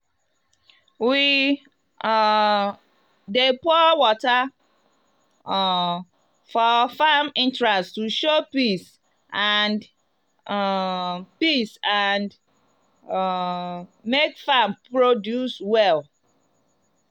we um dey pour water um for farm entrance to show peace and um peace and um make farm produce well.